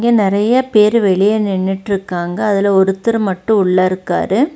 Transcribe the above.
இங்க நெறைய பேரு வெளிய நின்னுட்ருகாங்க அதுல ஒருத்தர் மட்டு உள்ளருக்காரு.